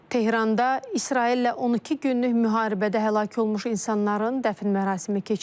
Tehranda İsraillə 12 günlük müharibədə həlak olmuş insanların dəfn mərasimi keçirilib.